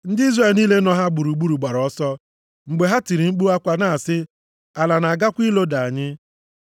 Ndị Izrel niile nọ ha gburugburu gbara ọsọ, mgbe ha tiri mkpu akwa, na-asị, “Ala na-agakwa iloda anyị.”